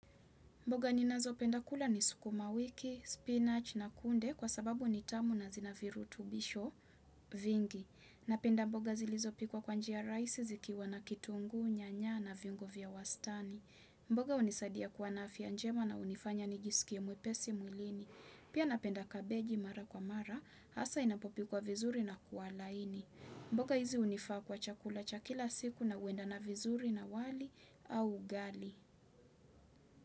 Mboga ninazo penda kula ni sukuma wiki, spinachi na kunde kwa sababu ni tamu na zina virutubisho vingi. Napenda mboga zilizopikwa kwa njia rahisi zikiwa na kitunguu, nyanya na viungo vya wastani. Mboga hunisadia kuwa na afya njema na hunifanya nijisikie mwepesi mwilini. Pia napenda kabeji mara kwa mara, hasa inapopikwa vizuri na kuwa laini. Mboga hizi hunifaa kwa chakula cha kila siku na huendana vizuri na wali au ugali.